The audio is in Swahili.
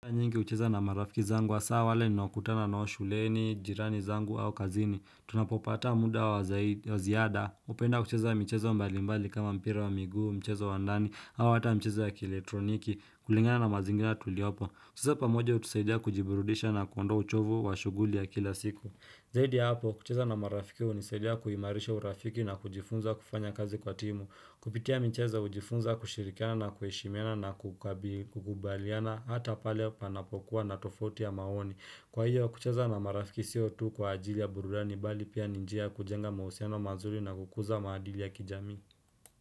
Nyingi ucheza na marafiki zangu asaa wale ninaokutana nao shuleni, jirani zangu au kazini, tunapopata muda wa ziada, upenda kucheza micheza mbalimbali kama mpira wa miguu, mcheza wa ndani, hau hata mcheza wa kieletroniki, kulingana na mazingina tuliopo, kucheza pamoja utusaidia kujiburudisha na kuondoa uchovu wa shuguli ya kila siku. Zaidi ya hapo, kucheza na marafiki unisaidia kuimarisha urafiki na kujifunza kufanya kazi kwa timu. Kupitia micheza ujifunza kushirikiana na kueshimiana na kukubaliana hata pale panapokuwa na tofauti ya maoni. Kwa hiyo, kucheza na marafiki siotu kwa ajili ya burulani bali pia ninjia kujenga mauseno mazuli na kukuza maadili ya kijami.